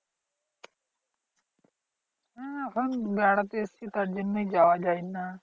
হ্যাঁ এখন বেড়াতে এসেছি তার জন্যই যাওয়া যায় না।